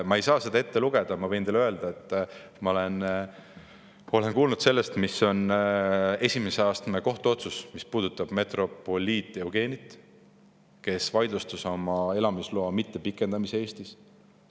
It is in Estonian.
Ma ei saa seda ette lugeda, aga ma võin teile öelda, et ma olen kuulnud sellest, mis on esimese astme kohtu otsus, mis puudutab metropoliit Jevgenit, kes vaidlustus oma elamisloa mittepikendamise Eestis.